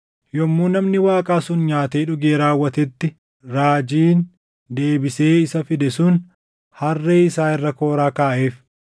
Yommuu namni Waaqaa sun nyaatee dhugee raawwatetti, raajiin deebisee isa fide sun harree isaa irra kooraa kaaʼeef.